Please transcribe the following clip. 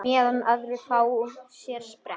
Meðan aðrir fá sér sprett?